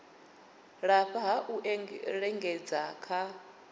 lafha ha u lingedza kha